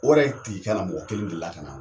O yɛrɛ tigi kana mɔgɔ kelen delila ka na